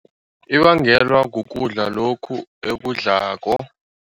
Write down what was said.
Ibangelwa kukudla lokhu ekudlako.